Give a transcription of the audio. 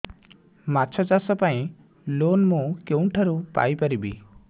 ମାଛ ଚାଷ ପାଇଁ ଲୋନ୍ ମୁଁ କେଉଁଠାରୁ ପାଇପାରିବି